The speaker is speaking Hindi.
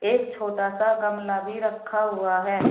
एक छोटा सा गमला भी रखा हुआ है।